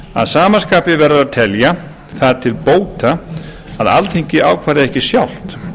að sama skapi verður að telja það til bóta að alþingi ákveði ekki sjálft